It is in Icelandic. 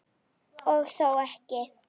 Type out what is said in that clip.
Og þó ekki!